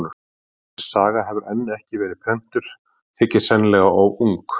En þessi saga hefur enn ekki verið prentuð, þykir sennilega of ung.